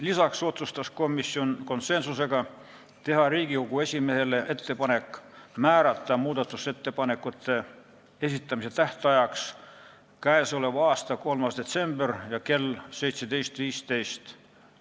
Lisaks otsustas komisjon konsensusega teha Riigikogu esimehele ettepaneku määrata muudatusettepanekute esitamise tähtajaks k.a 3. detsember kell 17.15.